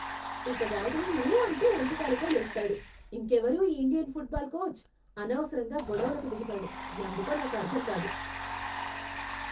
ఇతగాడు ఊ అంటే ఒంటి కాలుపై లేస్తాడు! ఇంకెవరూ, ఈ ఇండియన్ ఫుట్బాల్ కోచ్! అనవసరంగా గొడవలకు దిగుతాడు ఎందుకో నాకు అర్ధంకాదు.